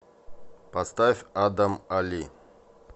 поставь адам али